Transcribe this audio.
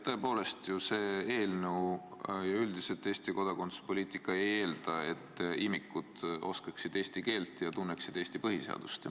Tõepoolest, see eelnõu ja Eesti kodakondsuspoliitika ju üldiselt ei eelda, et imikud oskaksid eesti keelt ja tunneksid Eesti põhiseadust.